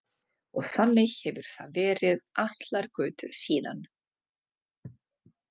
Og þannig hefur það verið allar götur síðan.